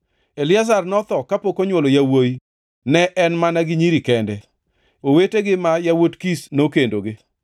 Eliazar notho kapok onywolo yawuowi, ne en mana gi nyiri kende. Owetegi ma yawuot Kish nokendogi.